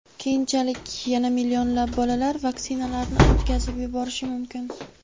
keyinchalik yana millionlab bolalar vaksinalarni o‘tkazib yuborishi mumkin.